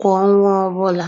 kwa ọnwa ọbụla.